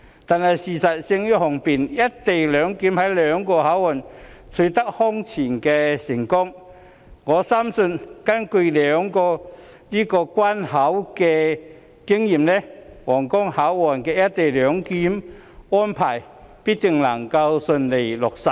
不過，事實勝於雄辯，"一地兩檢"在兩個口岸均空前成功，我深信根據這兩個關口的經驗，皇崗口岸的"一地兩檢"安排必定能夠順利落實。